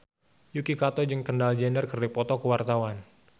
Yuki Kato jeung Kendall Jenner keur dipoto ku wartawan